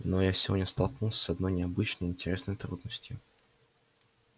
но я сегодня столкнулся с одной необычной и интересной трудностью